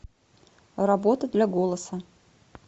работа для голоса